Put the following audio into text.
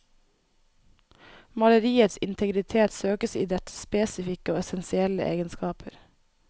Maleriets integritet søkes i dets spesifikke og essensielle egenskaper.